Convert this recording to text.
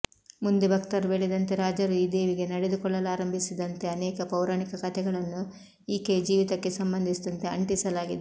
ಮುಂದೆ ಭಕ್ತರು ಬೆಳೆದಂತೆ ರಾಜರೂ ಈ ದೇವಿಗೆ ನಡೆದುಕೊಳ್ಳಲಾರಂಭಿಸಿದಂತೆ ಅನೇಕ ಪೌರಾಣಿಕ ಕಥೆಗಳನ್ನು ಈಕೆಯ ಜೀವಿತಕ್ಕೆ ಸಂಬಂಧಿಸಿದಂತೆ ಅಂಟಿಸಲಾಗಿದೆ